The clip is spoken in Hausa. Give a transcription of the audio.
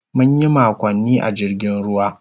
Mun yi makonni a jirgin ruwa.